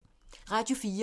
Radio 4